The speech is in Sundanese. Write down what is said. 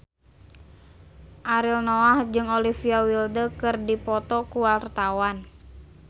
Ariel Noah jeung Olivia Wilde keur dipoto ku wartawan